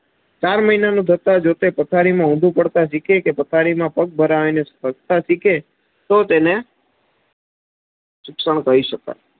ચાર મહિના પથારી માં ઊંધું પડતાં શીકે કે પથારી માં પગ ભરાવી ને સ્પસ્ટતા શિખે તો તેને શિક્ષણ કહી શકાય.